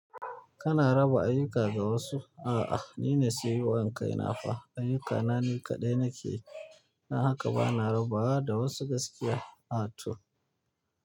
Kana raba ayyuka ga wasu? A'a, ni ne sayayyar kaina fa. Ayyukana ni kaɗai na ke yi, don haka ba na rabawa da wasu gaskiya. A to.